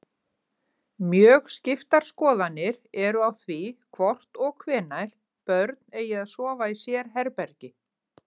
Mjög skiptar skoðanir eru á því hvort og hvenær börn eigi að sofa í sérherbergi.